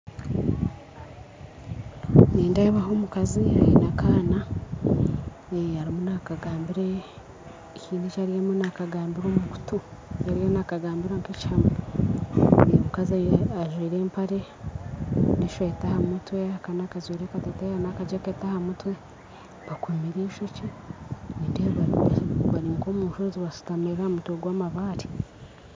Nindeebaho omukazi aine akaana haine ebi arimu nakagaambira omukuutu nigira arimu nakagaambira nka ekihama omukazi ajwire empare n'esweeta aha mutwe, akaana kajwire akateteeyi n'akajaketi aha mutwe bakomire eishookye nindeeba bari nka omushozi bashutamire aha mabaare